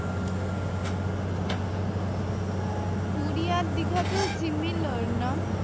পুরি আর দিঘা তো similar না?